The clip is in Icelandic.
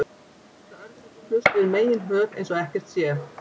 Þannig geta örnefnin flust yfir meginhöf eins og ekkert sé.